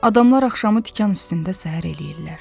Adamlar axşamı tikan üstündə səhər eləyirlər.